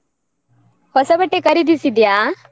ಹೊಸ ಬಟ್ಟೆ ಖರೀದಿಸಿದ್ಯಾ?